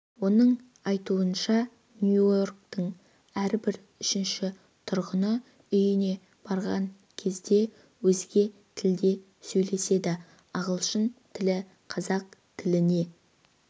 оның айтуынша нью-йорктың әрбір үшінші тұрғыны үйіне барған кезде өзге тілде сөйлеседі ағылшын тілі қазақ тіліне